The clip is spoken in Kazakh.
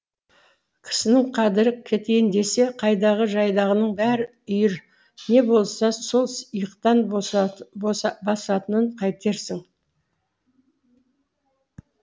кісінің қадірі кетейін десе қайдағы жайдағының бәрі үйір не болса сол иықтан басатынын қайтерсің